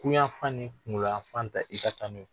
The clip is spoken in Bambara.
Kuyafan ni kunkoloyafan ta i ka taa n'o ye.